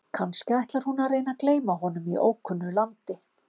Kannski ætlar hún að reyna að gleyma honum í ókunnu landi?